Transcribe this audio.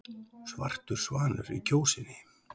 Svartur svanur í Kjósinni